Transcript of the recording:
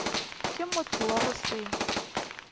ke motho wa go se